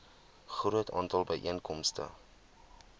groot aantal byeenkomste